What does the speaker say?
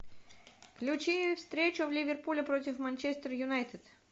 включи встречу в ливерпуле против манчестер юнайтед